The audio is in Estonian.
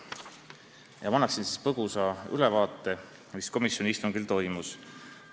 Ma annan nüüd põgusa ülevaate, mis komisjoni istungil toimus.